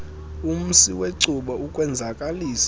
umsi wecuba ukwenzakalisa